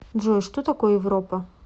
джой что такое европа